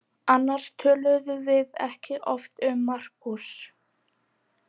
Annars töluðum við ekki oft um Markús.